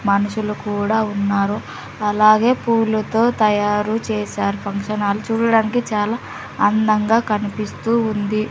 మనుషులు కూడా ఉన్నారు అలాగే పూలుతో తయారు చేశారు ఫంక్షన్ హాల్ చూడడానికి చాలా అందంగా కనిపిస్తూ ఉంది.